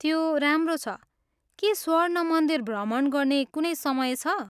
त्यो राम्रो छ। के स्वर्ण मन्दिर भ्रमण गर्ने कुनै समय छ?